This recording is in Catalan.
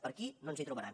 per aquí no ens hi trobaran